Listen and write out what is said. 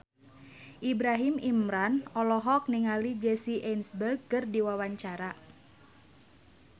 Ibrahim Imran olohok ningali Jesse Eisenberg keur diwawancara